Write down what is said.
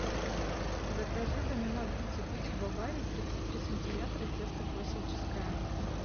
закажи в домино пицца пиццу бавария тридцать три сантиметра тесто классическое